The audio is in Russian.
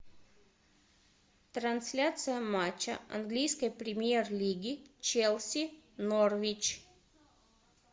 трансляция матча английской премьер лиги челси норвич